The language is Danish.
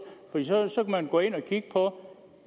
så kan man gå ind at kigge på